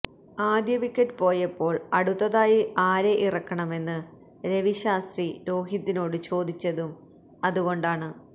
ആദ്യ വിക്കറ്റ് പോയപ്പോള് അടുത്തതായി ആരെ ഇറക്കണമെന്ന് രവി ശാസ്ത്രി രോഹിതിനോട് ചോദിച്ചതും അതുകൊണ്ടാണ്